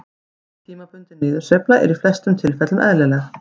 Slík tímabundin niðursveifla er í flestum tilfellum eðlileg.